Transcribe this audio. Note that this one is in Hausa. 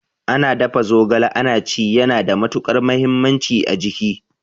Ana dafa zogala ana ci yana da matukar muhimmanci a jiki